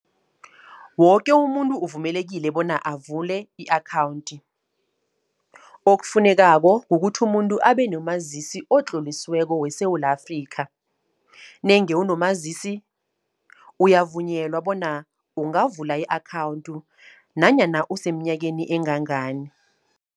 Woke umuntu uvumelekile bona avule i-akhawunti. Okufunekako kukuthi umuntu abe nomazisi, otlolisiweko weSewula Afrikha. Nange unomazisi, uyavunyelwa bona ungavula i-akhawunthi nanyana useemnyakeni engangani.